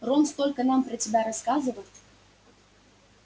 рон столько нам про тебя рассказывал